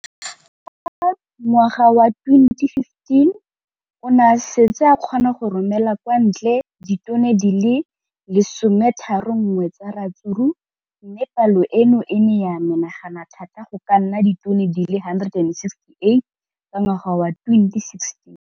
Ka ngwaga wa 2015, o ne a setse a kgona go romela kwa ntle ditone di le 31 tsa ratsuru mme palo eno e ne ya menagana thata go ka nna ditone di le 168 ka ngwaga wa 2016.